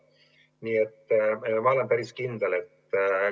Ma olen nende peale päris kindel.